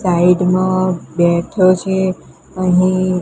side માં બેઠો છે અહીં--